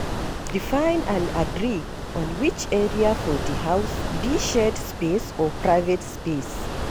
Define and agree on which area for di house be shared space or private space